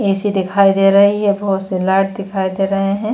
AC दिखाई दे रही है बोहोत से लाइट दिखाई दे रहे हैं।